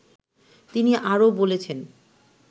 তিনি আরো বলেছেন